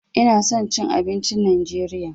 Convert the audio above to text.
Ina son cin abincin najeriya.